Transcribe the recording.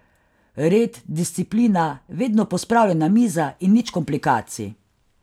Red, disciplina, vedno pospravljena miza in nič komplikacij.